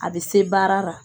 A bɛ se baara la